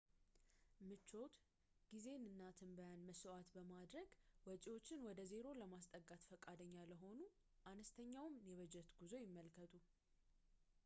ምቾት ጊዜን እና ትንበያን መሥዋዕት በማድረግ ወጪዎችን ወደ ዜሮ ለማስጠጋት ፈቃደኛ ለሆኑ አነስተኛውን የበጀት ጉዞ ይመልከቱ